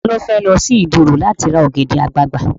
Ta ló fẹ́ lọ sí Ìdí òro láti ra ọ̀gẹ̀dẹ̀ àgbagbà?